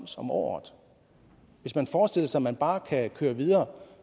som året hvis man forestiller sig at man bare kan køre videre